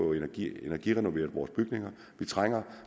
energirenoveret vores bygninger det trænger